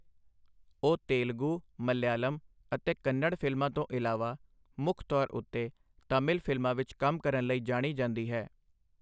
ਉਹ ਤੇਲਗੂ, ਮਲਿਆਲਮ ਅਤੇ ਕੰਨੜ ਫ਼ਿਲਮਾਂ ਤੋਂ ਇਲਾਵਾ ਮੁੱਖ ਤੌਰ ਉੱਤੇ ਤਾਮਿਲ ਫ਼ਿਲਮਾਂ ਵਿੱਚ ਕੰਮ ਕਰਨ ਲਈ ਜਾਣੀ ਜਾਂਦੀ ਹੈ।